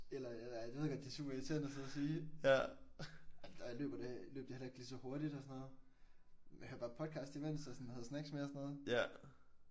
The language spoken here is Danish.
Eller jeg ved godt det er super irriterende at sidde at sige men da jeg løber det løb jeg heller ikke lige så hurtigt og sådan noget. Jeg hørte bare podcast imens og sådan havde snacks med og sådan